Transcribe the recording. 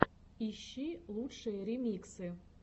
ищи лучшие ремиксы